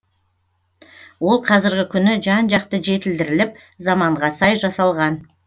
ол қазіргі күні жан жақты жетілдіріліп заманға сай жасалған